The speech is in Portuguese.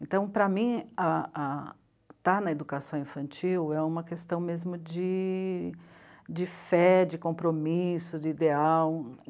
Então, para mim, a a... estar na educação infantil é uma questão mesmo de... de fé, de compromisso, de ideal.